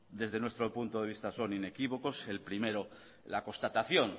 desde nuestro punto de vista son inequívocos el primero la constatación